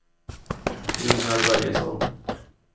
Ingemar Börjesson